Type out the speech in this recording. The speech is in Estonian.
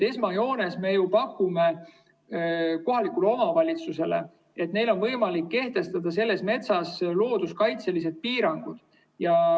Esmajoones me pakume kohalikule omavalitsusele seda, et neil on võimalik kehtestada selles metsas looduskaitselised piirangud.